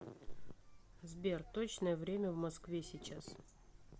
сбер точное время в москве сейчас